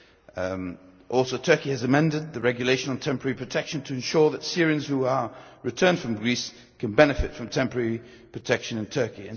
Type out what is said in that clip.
Turkey has also amended the Regulation on temporary protection to ensure that Syrians who are returned from Greece can benefit from temporary protection in Turkey.